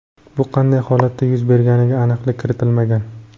Bu qanday holatda yuz berganiga aniqlik kiritilmagan.